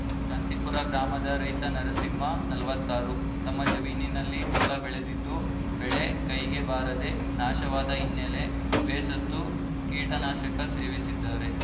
ಶಾಂತಿಪುರ ಗ್ರಾಮದ ರೈತ ನರಸಿಂಹ ನಲವತ್ತ್ ಆರು ತಮ್ಮ ಜಮೀನಿನನಲ್ಲಿ ಜೋಳ ಬೆಳೆದಿದ್ದು ಬೆಳೆ ಕೈಗೆ ಬಾರದೆ ನಾಶವಾದ ಹಿನ್ನೆಲೆ ಬೇಸತ್ತು ಕೀಟನಾಶಕ ಸೇವಿಸಿದ್ದಾರೆ